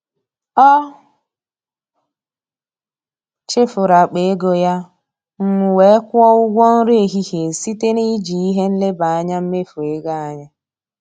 Ọ chefuru akpa ego ya, m wee kwụọ ụgwọ nri ehihie site na iji ihe nleba anya mmefu ego anyị.